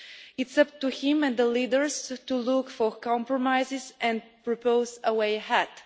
It is up to him and the leaders to look for compromises and propose a way ahead.